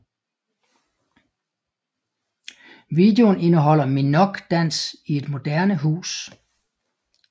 Videoen indeholder Minogue dans i et moderne hus